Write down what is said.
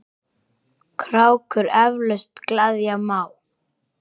krákur eflaust gleðja má.